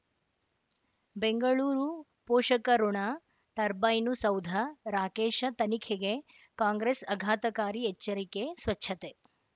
ಬೆಂಗಳೂರು ಪೋಷಕಋಣ ಟರ್ಬೈನು ಸೌಧ ರಾಕೇಶ ತನಿಖೆಗೆ ಕಾಂಗ್ರೆಸ್ ಆಘಾತಕಾರಿ ಎಚ್ಚರಿಕೆ ಸ್ವಚ್ಛತೆ